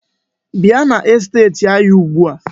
Bia n'esteti anyi ugbua.